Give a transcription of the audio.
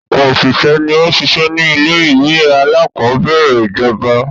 Ọ̀pọ̀ òṣìṣẹ́ ni ó n sisẹ́ ni ilé-ìwé aláàkọ́bẹ̀rẹ̀ ìjọba.